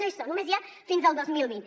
no hi són només n’hi ha fins al dos mil vint